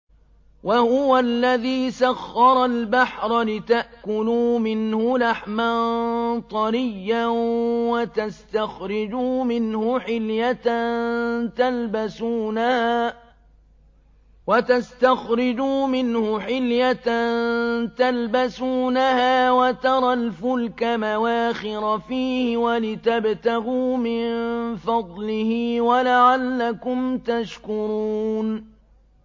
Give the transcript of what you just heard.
وَهُوَ الَّذِي سَخَّرَ الْبَحْرَ لِتَأْكُلُوا مِنْهُ لَحْمًا طَرِيًّا وَتَسْتَخْرِجُوا مِنْهُ حِلْيَةً تَلْبَسُونَهَا وَتَرَى الْفُلْكَ مَوَاخِرَ فِيهِ وَلِتَبْتَغُوا مِن فَضْلِهِ وَلَعَلَّكُمْ تَشْكُرُونَ